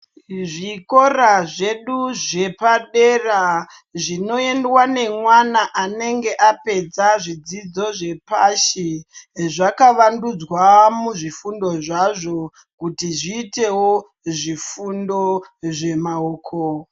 Zvikora zvedu zvepadera, zvinoendwa nemwana anenge apedza zvidzidzo zvepashi, zvakavandudzwa muzvifundo zvazvo kuti zviitewo zvifundo zvemaoko.